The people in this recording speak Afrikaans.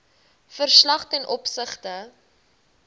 verslag ten opsigte